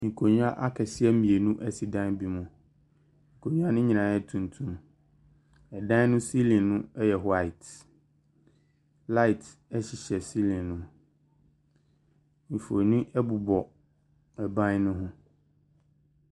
Nkonnwa akɛseɛ mmienu si dan bi mu. Nkonnwa no nyinaa yɛ tuntum. Dan no ceiling no yɛ white. Light nso hyɛ ceiling no mu. Mfonin bobɔ ban no ho.